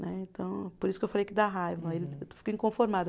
Né, então. Por isso que eu falei que dá raiva, eu fico inconformada.